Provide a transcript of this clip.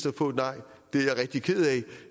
at få et nej det er jeg rigtig ked af